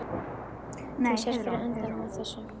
Þú sérð fyrir endanum á þessu?